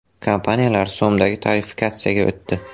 Kompaniyalar so‘mdagi tarifikatsiyaga o‘tdi.